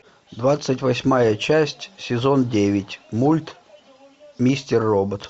двадцать восьмая часть сезон девять мульт мистер робот